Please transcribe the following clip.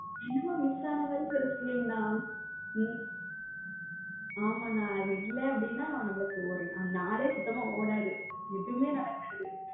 என்னமோ miss ஆன மாதிரி ஒரு feel அண்ணா ஆமா அண்ணா அது இல்ல அப்படின்னா நமக்கு ஒரு நாலு சுத்தமா ஓடாது எதுவுமே நடக்காது.